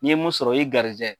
I ye mun sɔrɔ, la y'i garijɛgɛ